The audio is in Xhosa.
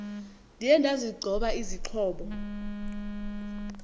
ndiye ndazigcoba izixhobo